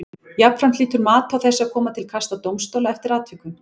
Jafnframt hlýtur mat á þessu að koma til kasta dómstóla eftir atvikum.